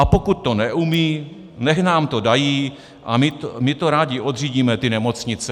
A pokud to neumí, nechť nám to dají a my to rádi odřídíme, ty nemocnice."